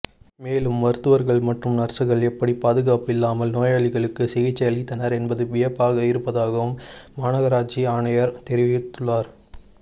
மேலும் மருத்துவர்கள் மற்றும் நர்சுகள் எப்படி பாதுகாப்பில்லாமல் நோயாளிகளுக்கு சிகிச்சை அளித்தனர் என்பது வியப்பாக இருப்பதாகவும் மாநகராட்சி ஆணையர் தெரிவித்துள்ளார்